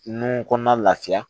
Nun kɔnɔna lafiya